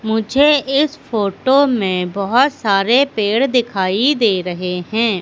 मुझे इस फोटो मे बहोत सारे पेड़ दिखाई दे रहे है।